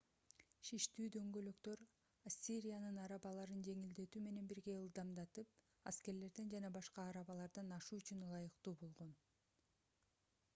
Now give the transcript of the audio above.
шиштүү дөңгөлөктөр ассириянын арабаларын жеңилдетүү менен бирге ылдамдатып аскерлерден жана башка арабалардан ашуу үчүн ылайыктуу болгон